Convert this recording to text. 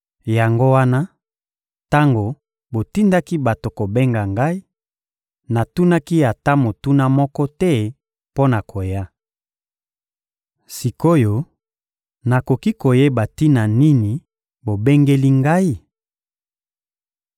Yango wana, tango botindaki bato kobenga ngai, natunaki ata motuna moko te mpo na koya. Sik’oyo, nakoki koyeba tina nini bobengeli ngai?